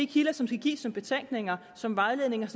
kilder som skal gives som betænkninger som vejledninger